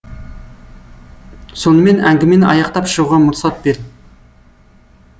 сонымен әңгімені аяқтап шығуға мұрсат бер